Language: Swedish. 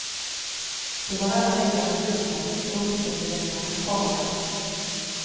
Då var alla väggarna vita och uppseendeväckande kala.